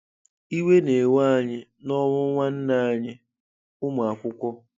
Iwe na-ewe anyị nọnwụ nwanne anyị - ụmụakwụkwọ.